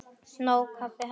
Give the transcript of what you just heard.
Nóg kaffi handa þér líka.